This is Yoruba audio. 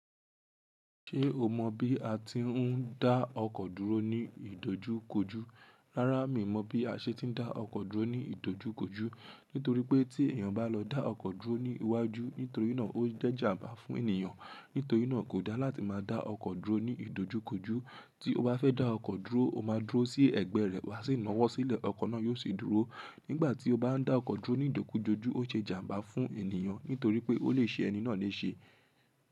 Ṣé o mọ bí a ti ń dá ọkọ̀ dúró ní ìdojúkojú? Rárá, mi mọ̀ bí a ṣe ń dá ọkọ̀ dúró ní ìdojúkojú. Nítorí pé tí èèyàn bá lọ dá ọkọ̀ dúró ní iwájú nítorí náà ó jẹ́ ìjàmbá fún ènìyàn. Nítorí náà kò dá láti máa dá ọkọ̀ dúró ní ìdojúkojú. Tí o bá fẹ́ dá ọkọ̀ dúró, o máa dúró sí ẹ̀gbẹ́ rẹ̀ wá sì nawó sílẹ̀, ọkọ̀ náà yóò sì dúró. Nígbà tí o bá ń dá ọkọ̀ dúró ní ìdojúkojú o jẹ́ ìjàmbá fún ènìyàn nítorí pé ó lè ṣe ẹni náà léṣe.